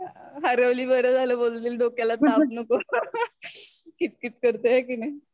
हरवली बार झाले बोलतील डोक्याला ताप नको कीटकीत करते हाये का नाही.